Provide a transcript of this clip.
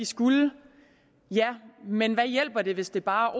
skulle ja men hvad hjælper det hvis det bare